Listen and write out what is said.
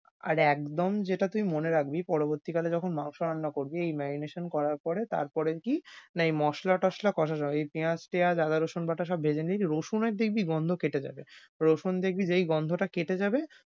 আর একদম যেটা তুই মনে রাখবি পরবর্তীকালে যখন মাংস রান্না করবি এই marination করার পরে তারপরে কি না এই মসলা টসলা কষা তে হয়। ঐ পেয়াজ টেয়াজ আদা রসুন বাটা সব ভেঁজে নিবি রসুন এর দেখবি গন্ধ কেটে যাবে। রসুন দেখবি যেই গন্ধটা কেটে যাবে,